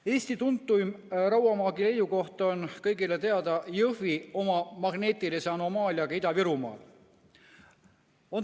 Eesti tuntuim rauamaagi leiukoht on kõigile teada Jõhvi oma magneetilise anomaaliaga Ida-Virumaal.